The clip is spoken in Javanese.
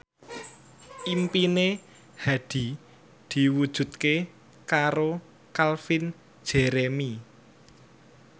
impine Hadi diwujudke karo Calvin Jeremy